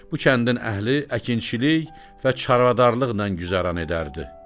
Bu kəndin əhli əkinçilik və çarvadarlıqla güzəran edərdi.